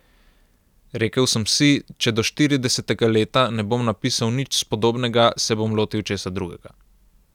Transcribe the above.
Rekel sem si, če do štiridesetega leta ne bom napisal nič spodobnega, se bom lotil česa drugega ...